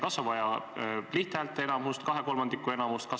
Kas on vaja lihthäälteenamust või kahekolmandikulist enamust?